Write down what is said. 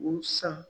U san